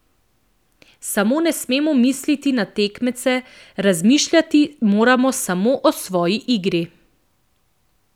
Samo ne smemo misliti na tekmece, razmišljati moramo samo o svoji igri.